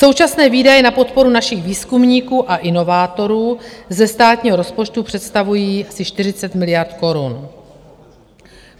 Současné výdaje na podporu našich výzkumníků a inovátorů ze státního rozpočtu představují asi 40 miliard korun.